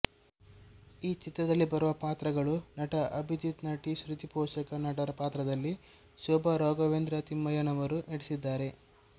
ಈ ಚಿತ್ರದಲ್ಲಿ ಬರುವ ಪಾತ್ರಗಳು ನಟ ಅಭಿಜಿತ್ನಟಿ ಶ್ರುತಿಪೋಷಕ ನಟರ ಪಾತ್ರದಲ್ಲಿ ಶೋಭ ರಾಘವೇಂದ್ರ ತಿಮ್ಮಯ್ಯನವರು ನಟಿಸಿದ್ದಾರೆ